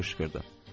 Nənə qışqırdı.